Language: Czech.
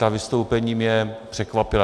Ta vystoupení mě překvapila.